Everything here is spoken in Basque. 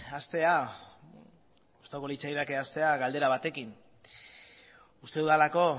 gustatuko litzaidake hastea galdera batekin uste dudalako